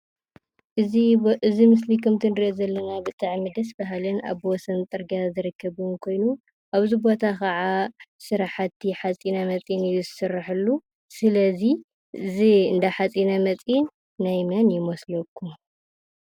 እዚ ምስሊ ከምቲ ንርእዮ ዘለና ብጣዓሚ ደስ ባሃልን ኣብ ወሰን ፅርግያ ዝርከብን ኮይኑ ኣብዚ ቦታ ከዓ ስራሓቲ ሓፂነመፂን እዩ ዝስረሐሉ። ስለዚ እዚ እንዳ ሓፂነመፂን ናይ መን ይመስለኩም?